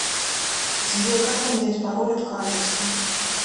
сбер как поменять пароль от карточки